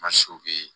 Ma